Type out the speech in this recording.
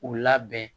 U labɛn